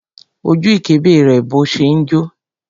Ó ju ìkébè rẹ̀ bó ṣe ń jó.